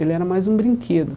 Ele era mais um brinquedo.